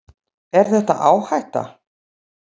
Er þetta áhætta?